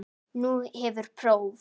Nú hefur próf.